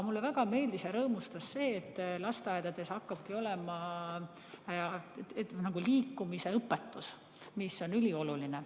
Mulle väga meeldis ja mind rõõmustas see, et lasteaedades hakkab olema liikumisõpetus, mis on ülioluline.